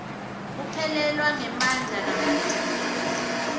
kuphelelwa ngemandla kamatima